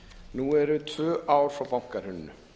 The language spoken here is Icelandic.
nú eru tvö ár frá bankahruninu